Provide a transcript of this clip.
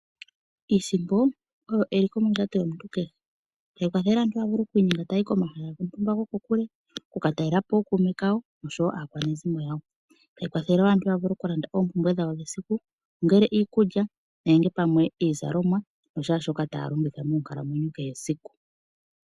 Iisimpo oyo eliko mondjato yomuntu kehe. Otayi kwathele aantu okwiinyenga yaye komahala gontumba gokokule oku ka talela po ookuume naakwanezimo yawo. Yo otayi kwathele wo aantu mokulanda oompumbwe dhawo dhesiku kehe, ongele iikulya, iizalomwa nakehe tuu shoka taya pumbwa esiku nesiku.